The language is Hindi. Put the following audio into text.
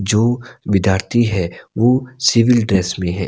जो विद्यार्थी है वो सिविल ड्रेस में है।